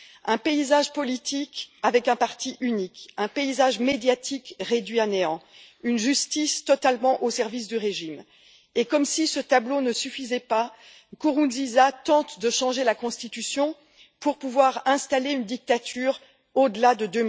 Un paysage politique avec un parti unique, un paysage médiatique réduit à néant, une justice totalement au service du régime et, comme si ce tableau ne suffisait pas, Nkurunziza tente de changer la Constitution pour pouvoir instaurer une dictature au delà de